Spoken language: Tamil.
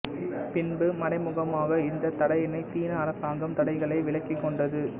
பின்பு மறைமுகமாக இந்த தடையினை சீன அரசாங்கம் தடைகளை விலக்கிக் கொண்டது